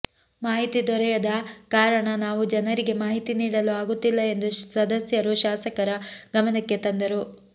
ಮಾಹಿತಿ ದೊರೆಯದ ಕಾರಣ ನಾವು ಜನರಿಗೆ ಮಾಹಿತಿ ನೀಡಲು ಆಗುತ್ತಿಲ್ಲ ಎಂದು ಸದಸ್ಯರು ಶಾಸಕರ ಗಮನಕ್ಕೆ ತಂದರು